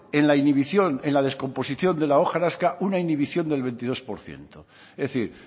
en la indivisión en la descomposición de la hojarasca una indivisión del veintidós por ciento es decir